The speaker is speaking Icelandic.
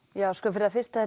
fyrir það fyrsta